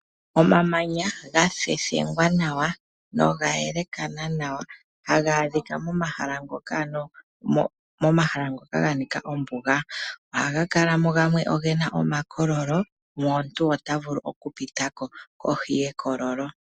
Omamanya gathethengwa nawa noga yelakana nawa , haga adhika momahala ngoka ga nika ombuga. Ohaga kalamo gamwe ogena omakololo omuntu ota vulu oku pitako kohi yekololo.